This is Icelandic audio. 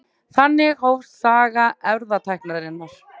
Þannig hófst saga erfðatækninnar.